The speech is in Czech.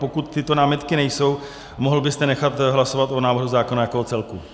Pokud tyto námitky nejsou, mohl byste nechat hlasovat o návrhu zákona jako o celku.